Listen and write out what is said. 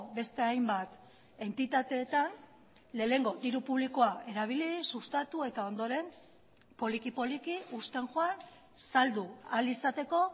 beste hainbat entitateetan lehenengo diru publikoa erabili sustatu eta ondoren poliki poliki uzten joan saldu ahal izateko